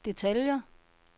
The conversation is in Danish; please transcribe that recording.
detaljer